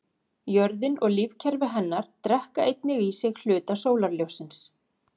Jörðin og lífkerfi hennar drekka einnig í sig hluta sólarljóssins.